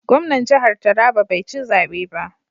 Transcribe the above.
Gwamnan jihar Taraba bai ci zabe ba.